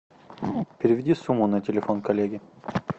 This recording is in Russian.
переведи сумму на телефон коллеги